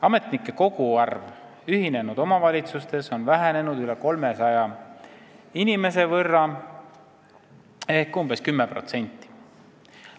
Ametnike koguarv ühinenud omavalitsustes on vähenenud üle 300 inimese võrra ehk umbes 10%.